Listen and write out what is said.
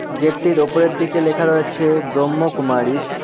গেটটির ওপরের দিকে লেখা রয়েছে ব্রহ্ম কুমারিস ।